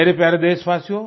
मेरे प्यारे देशवासियो